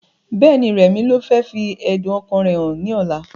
Bẹ́ẹ̀ni, rẹmi ló fẹ́ fi ẹ̀dùn ọkàn rẹ hàn ní ọ̀la